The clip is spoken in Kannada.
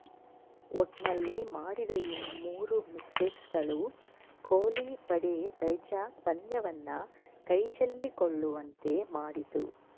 ಒಟ್ನಲ್ಲಿ ಮಾಡಿದ ಈ ಮೂರು ಮಿಸ್ಟೇಕ್ಸ್ಗಳು ಕೊಹ್ಲಿ ಪಡೆ ವೈಜಾಗ್ ಪಂದ್ಯವನ್ನ ಕೈಚೆಲ್ಲಿಕೊಳ್ಳುವಂತೆ ಮಾಡಿತು